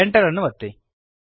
Enter ಅನ್ನು ಒತ್ತಿರಿ